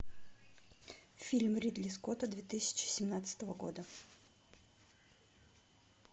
фильм ридли скотта две тысячи семнадцатого года